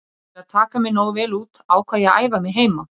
Til að taka mig nógu vel út ákvað ég að æfa mig heima.